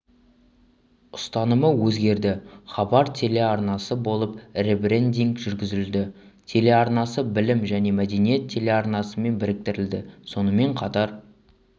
ұстанымы өзгерді хабар телеарнасы болып ребрендинг жүргізілді телеарнасы білім және мәдениет телеарнасымен біріктірілді сонымен қатар